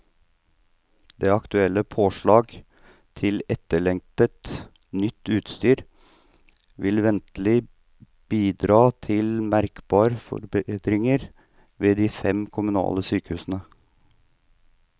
De aktuelle påslag til etterlengtet, nytt utstyr vil ventelig bidra til merkbar forbedring ved de fem kommunale sykehusene.